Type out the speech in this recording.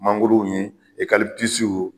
Mangorow ye e